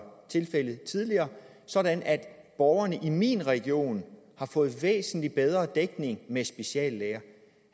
tilfældet tidligere sådan at borgerne i min region har fået væsentlig bedre dækning med speciallæger